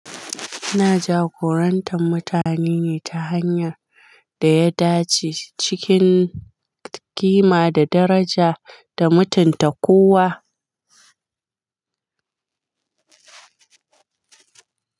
Ina jagorantar mutane ne ta hanyar da ya dace cikin ƙima da daraja da mutunta kowa.